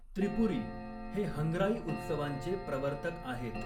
त्रिपुरी हे हंग्राई उत्सवांचे प्रवर्तक आहेत.